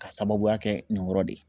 K'a sababuya kɛ nin yɔrɔ de ye